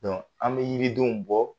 an bɛ yiridenw bɔ.